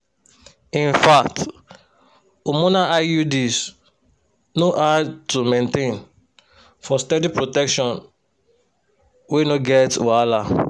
infact hormonal iuds no hard to maintain for steady protection wey no get wahala.